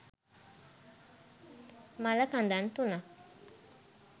මළ කඳන් තුනක්